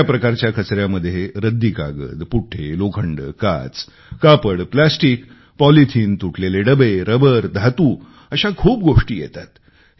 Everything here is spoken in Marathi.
दुसऱ्या प्रकारच्या कचऱ्यामध्ये रद्दी कागद पुठे लोखंड काच कापड प्लास्टिक पॉलिथिन तुटलेले डबे रबर धातू अशा खूप गोष्टी येतात